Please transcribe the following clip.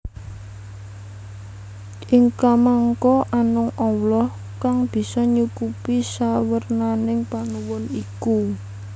Ing kamangka amung Allah kang bisa nyukupi sawernaning panuwun iku